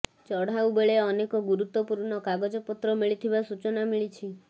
ଚଢ଼ାଉ ବେଳେ ଅନେକ ଗୁରୁତ୍ୱପୂର୍ଣ୍ଣ କାଗଜପତ୍ର ମିଳିଥିବା ସୂଚନା ମିଳିଛି